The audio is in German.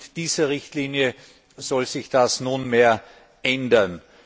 Mit dieser Richtlinie soll sich das nun ändern.